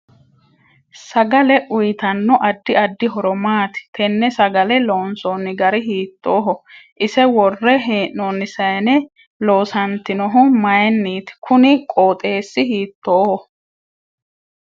Sagale uyiitanno addi addi horo maati tenne sagalle loonsooni gari hiitooho ise worre heenooni sayiine loosantinohu mayiiniiti kuni qooxeesi hiitooho